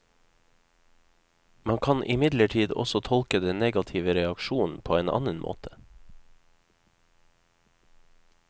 Man kan imidlertid også tolke den negative reaksjonen på en annen måte.